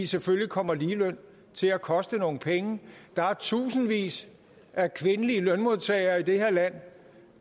selvfølgelig kommer ligeløn til at koste nogle penge der er tusindvis af kvindelige lønmodtagere i det her land